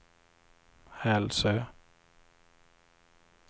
Hälsö